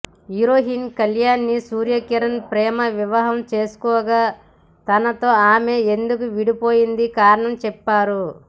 heroine కళ్యాణిని సూర్య కిరణ్ ప్రేమ వివాహం చేసుకోగా తనతో ఆమె ఎందుకు విడిపోయిందో కారణం చెప్పారు